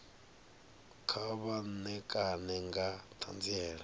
kha vha ṋekane nga ṱhanziela